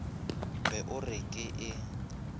be o re ke e